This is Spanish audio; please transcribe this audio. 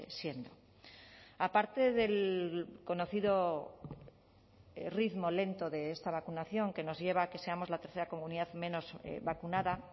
siendo aparte del conocido ritmo lento de esta vacunación que nos lleva a que seamos la tercera comunidad menos vacunada